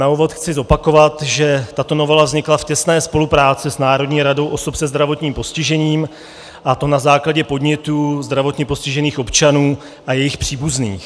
Na úvod chci zopakovat, že tato novela vznikla v těsné spolupráci s Národní radou osob se zdravotním postižením, a to na základě podnětů zdravotně postižených občanů a jejich příbuzných.